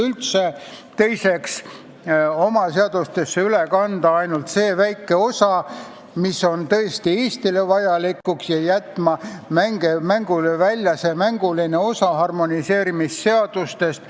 Teiseks tuleks oma seadustesse üle kanda ainult see väike osa, mis on tõesti Eestile vajalik, ja jätta välja mänguline osa harmoneerimisseadustest.